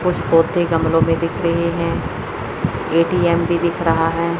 कुछ गोती गमले भी दिख रही है। ए_टी_एम भी दिख रहा हैं।